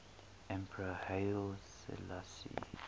emperor haile selassie